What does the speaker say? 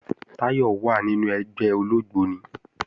Táyọ̀ wà nínu ẹgbẹ́ ológbóni